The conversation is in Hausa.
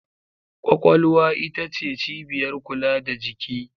Kwakwalwa ita ce cibiyar kula da jiki.